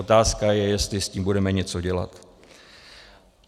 Otázka je, jestli s tím budeme něco dělat.